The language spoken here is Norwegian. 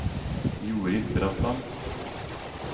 Jorid Bratland